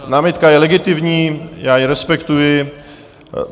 Námitka je legitimní, já ji respektuji.